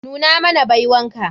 Nuna mana baiwan ka.